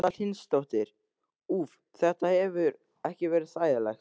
Erla Hlynsdóttir: Úff, þetta hefur ekki verið þægilegt?